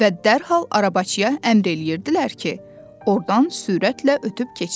Və dərhal arabaçıya əmr eləyirdilər ki, ordan sürətlə ötüb keçsin.